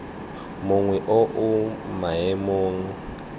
mongwe o o mo maemong